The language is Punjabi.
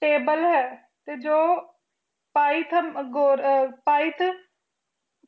ਟੇਬਲ ਹੀ ਤੇ ਪੀ ਪੀ ਜ਼ੀਰਾ ਪਾਈਥ ਪਾਈਥ